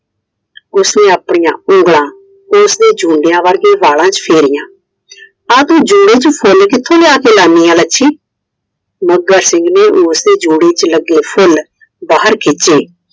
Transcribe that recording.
ਉਸਨੇ ਆਪਣੀਆਂ ਉਂਗਲਾਂ ਉਸਦੇ ਜੂੰਡੀਆਂ ਵਰਗੇ ਵਾਲਾ ਚ ਫੇਰੀਆ, ਆਹ ਤੂੰ ਜੁੜੇ ਚ ਫੁੱਲ ਕਿਥੋਂ ਲਿਆ ਕੇ ਲਾਨੀ ਏ ਲੱਛਮੀ? ਮੱਘਰ ਸਿੰਘ ਨੇ ਉਸ ਦੇ ਜੁੜੇ ਚ ਲੱਗੇ ਫੁੱਲ ਬਾਹਰ ਖਿੱਚੇ I